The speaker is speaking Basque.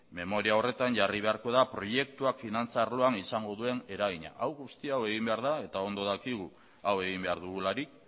memoria horretan jarri beharko da proiektuak finantza arloan izango duen eragina hau guztia egin behar da eta ondo dakigu hau egin behar dugularik